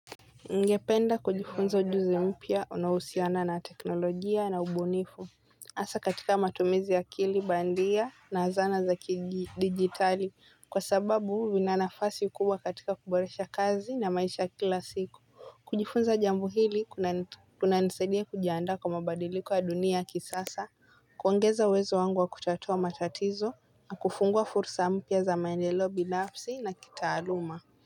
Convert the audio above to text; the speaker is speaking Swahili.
Ningependa kujifunza ujuzi mpya unahusiana na teknolojia na ubunifu. Asa katika matumizi ya kili bandia na zana za kidigitali kwa sababu vinanafasi kubwa katika kuboresha kazi na maisha ya kila siku. Kujifunza jambu hili kuna nisaidia kujiandaa kwa mabadiliko ya dunia ya kisasa. Kuongeza uwezo wangu wa kutatua matatizo na kufungua fursa mpya za maendelo binafsi za kitaaluma.